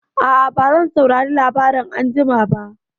A'a, bazan saurari labarai anjima ba.